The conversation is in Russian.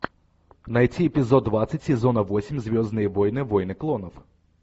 найти эпизод двадцать сезона восемь звездные войны войны клонов